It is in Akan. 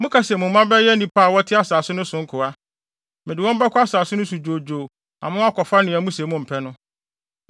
Moka se mo mma bɛyɛ nnipa a wɔte asase no so no nkoa. Mede wɔn bɛkɔ asase no so dwoodwoo ama wɔakɔfa nea muse mompɛ no.